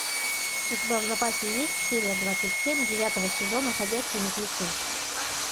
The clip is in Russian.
у тебя в запасе есть серия двадцать семь девятого сезона ходячие мертвецы